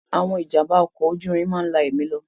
Àwọn ìjàm̀bá ọkọ̀ ojú irin máa ń la ẹ̀mí lọ.